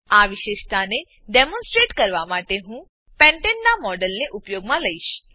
આ વિશેષતાને ડેમોનસ્ટ્રેટ કરવા માટે હું પેન્ટને પેન્ટેન નાં મોડેલને ઉપયોગમાં લઈશ